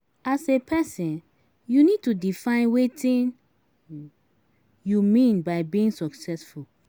As a person you need to define wetin you mean by being successful